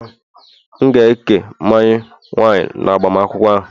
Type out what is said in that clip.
M ga-eke mmanya wine, n'agbamakwụkwọ ahụ